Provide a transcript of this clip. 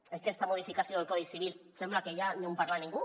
d’aquesta modificació del codi civil sembla que ja no en parla ningú